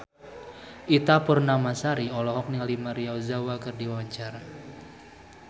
Ita Purnamasari olohok ningali Maria Ozawa keur diwawancara